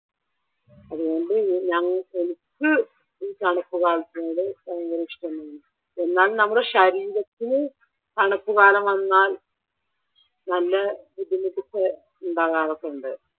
അതുകൊണ്ട് ഞങ്ങക്ക് എനിക്ക് ഈ തണുപ്പ് കാലത്തിനോട് ഭയങ്കരം ഇഷ്ട്ടമാണ്. എന്നാൽ നമ്മുടെ ശരീരത്തില് തണുപ്പ് കാലം വന്നാൽ നല്ല ബുദ്ധിമുട്ടൊക്കെ ഉണ്ടാകാറൊക്കെ ഉണ്ട്.